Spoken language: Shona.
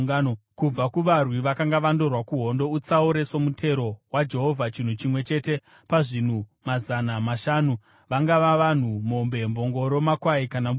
Kubva kuvarwi vakanga vandorwa kuhondo, utsaure somutero waJehovha chinhu chimwe chete pazvinhu mazana mashanu, vangava vanhu, mombe, mbongoro, makwai kana mbudzi.